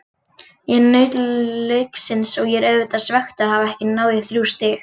Ég naut leiksins en ég er auðvitað svekktur að hafa ekki náð í þrjú stig.